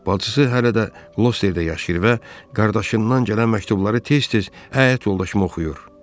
Bacısı hələ də Qlosterda yaşayır və qardaşından gələn məktubları tez-tez həyat yoldaşıma oxuyur.